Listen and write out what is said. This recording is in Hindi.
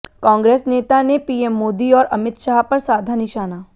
कांग्रेस नेता ने पीएम मोदी और अमित शाह पर साधा निशाना